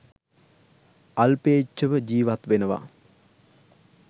අල්පේච්ඡව ජීවත් වෙනවා